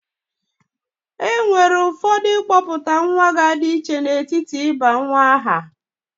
Enwere ụfọdụ ịkpọpụta nwa ga-adi iche n'etiti ịgọ nwa aha.